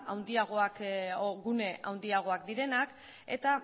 gune handiagoak direnak eta